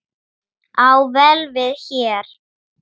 á vel við hér.